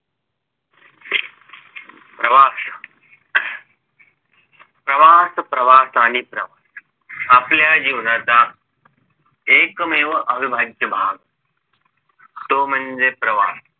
प्रवास प्रवास प्रवास आणि प्रवास आपल्या जीवनाचा एकमेव अविभाज्य भाग तो म्हणजे प्रवास